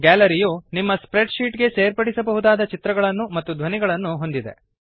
gallery ಯು ನಿಮ್ಮ spreadsheet ಗೆ ಸೇರ್ಪಡಿಸಬಹುದಾದ ಚಿತ್ರಗಳನ್ನು ಮತ್ತು ಧ್ವನಿಗಳನ್ನು ಹೊಂದಿದೆ